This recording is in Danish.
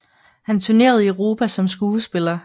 Han turnerede i Europa som skuespiller